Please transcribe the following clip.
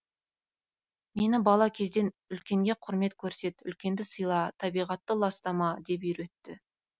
мені бала кезден үлкенге құрмет көрсет үлкенді сыйла табиғатты ластама деп үйретті